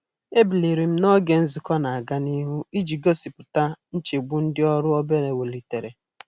E biliri m n'oge nzukọ n'aga nihu iji gosipụta nchegbu ndị ọrụ obere welitere.